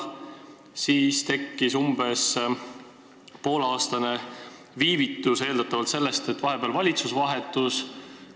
Siis tekkis umbes pooleaastane viivitus, eeldatavalt sellest, et valitsus vahetus.